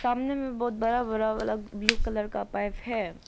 सामने में बहोत बड़ा बड़ा वाला ब्लू कलर का पाइप है।